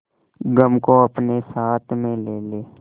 गम को अपने साथ में ले ले